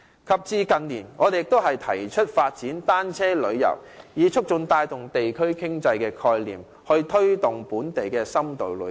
及至近年，我們亦提出了發展單車旅遊，以促進及帶動地區經濟發展的概念，推動本地深度旅遊。